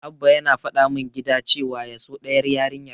Abba yana faɗa min gida cewa ya so ɗayar yarinyar.